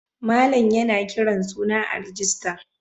Malam yana kiran suna a rijista.